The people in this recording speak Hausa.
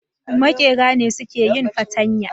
Makera ne suke yin fartanya